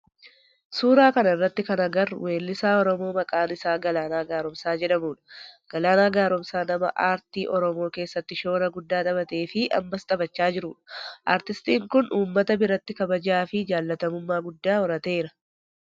suuraa kana irratti kan agarru weellisaa oromoo maqaan isaa Galaanaa Gaaromsaa jedhamudha. Galaanaa Gaaromsaa nama aartii oromoo keessatti shoora guddaa taphatee fi ammas taphachaa jirudha. aartistiin kun ummata biratti kabajaa fi jaalatamummaa guddaa horateera.